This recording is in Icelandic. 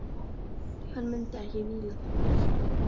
Hann mundi ekki víla það fyrir sér.